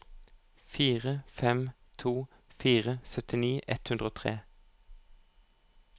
fire fem to fire syttini ett hundre og tre